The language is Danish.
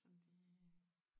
Sådan lige